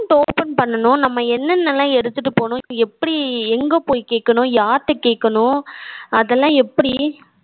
open பண்ணனும். நம்ம என்னென்ன எல்லாம் எடுத்துட்டு போகணும், எப்படி எங்க போய் கேட்கணும், யார்கிட்ட கேட்கணும் அதெல்லாம் எப்படி,